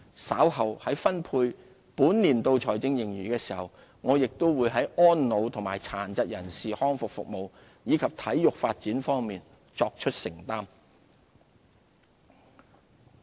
稍後在分配本年度財政盈餘的時候，我亦會在安老和殘疾人士康復服務，以及體育發展方面，作出承擔。